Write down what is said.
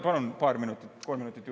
Palun paar minutit, kolm minutit juurde.